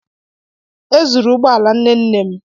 E zuru ụgbọ ala nne nne m.